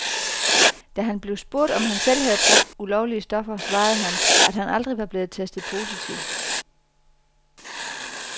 Da han blev spurgt om han selv havde brugt ulovlige stoffer, svarede han, at han aldrig var blevet testet positiv.